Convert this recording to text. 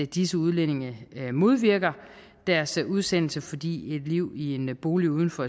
disse udlændinge modvirker deres udsendelse fordi et liv i en bolig uden for